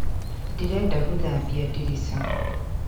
Ndĩrenda gũthambia ndirica.